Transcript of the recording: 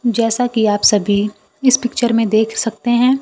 जैसा कि आप सभी इस पिक्चर में देख सकते हैं।